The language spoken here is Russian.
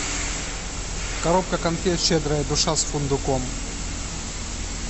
коробка конфет щедрая душа с фундуком